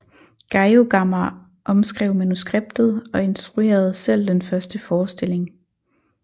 Geiogamah omskrev manuskriptet og instruerede selv den første forestilling